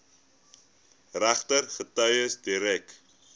regter getuies direk